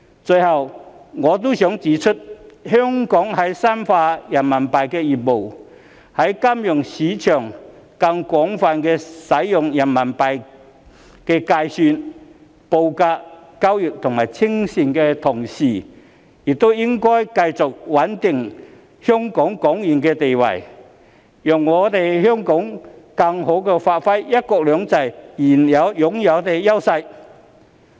最後，我亦想指出香港在深化人民幣業務，在金融市場上更廣泛使用人民幣計算、報價、交易及清算的同時，也應該繼續穩定港元的地位，讓香港更好地發揮"一國兩制"擁有的優勢。